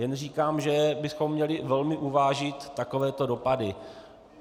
Jen říkám, že bychom měli velmi uvážit takovéto dopady.